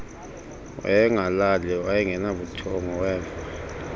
wayengalali wayengenabuthongo weva